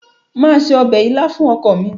màá se ọbẹ̀ ilá fún ọkọ mi.